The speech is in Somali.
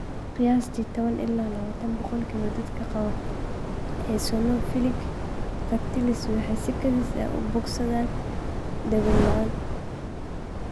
Qiyaastii 10-20% dadka qaba eosinophilic fasciitis waxay si kedis ah u bogsadaan daaweyn la'aan.